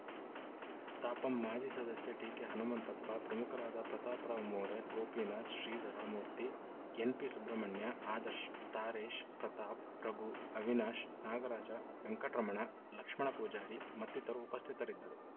ತಾಪಂ ಮಾಜಿ ಸದಸ್ಯ ಟಿಕೆ ಹನುಮಂತಪ್ಪ ಪ್ರಮುಖರಾದ ಪ್ರತಾಪ್‌ರಾವ್‌ ಮೋರೆ ಗೋಪಿನಾಥ್‌ ಶ್ರೀಧರ ಮೂರ್ತಿ ಎನ್‌ಪಿ ಸುಬ್ರಹ್ಮಣ್ಯ ಆದರ್ಶ ತಾರೇಶ್‌ ಪ್ರತಾಪ್‌ ರಾಘು ಅವಿನಾಶ್‌ ನಾಗರಾಜ ವೆಂಕಟರಮಣ ಲಕ್ಷ್ಮಣಪೂಜಾರಿ ಮತ್ತಿತರರು ಉಪಸ್ಥಿತರಿದ್ದರು